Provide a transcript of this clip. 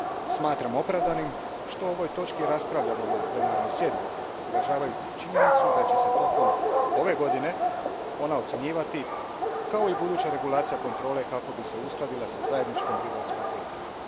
Smatram opravdanim što o ovoj točki raspravljamo na plenarnoj sjednici, uvažavajući činjenicu da će se tijekom ove godine ona ocijenjivati, kao i buduća regulacija kontrole kako bi se uskladila s zajedničkom ribarskom politikom.